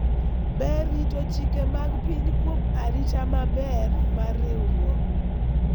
ber rito chike mag piny kuom arita maber mar riwruok